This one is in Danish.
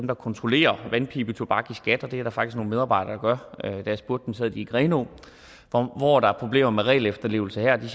der kontrollerer vandpibetobak og det er der faktisk nogle medarbejdere gør da jeg spurgte dem sad de i grenaa hvor der er problemer med regelefterlevelse her og de